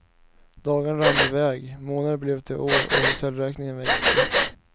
Dagarna rann i väg, månader blev till år och hotellräkningen växte.